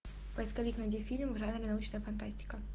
поисковик найди фильм в жанре научная фантастика